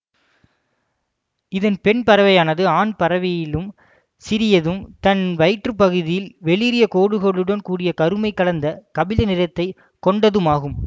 இதன் பெண் பறவையானது ஆண் பறவையிலும் சிறியதும் தன் வயிற்று பகுதியில் வெளிறிய கோடுகளுடன் கூடிய கருமை கலந்த கபில நிறத்தை கொண்டதுமாகும்